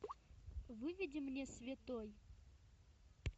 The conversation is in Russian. выведи мне святой